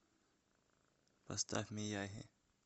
поставь мияги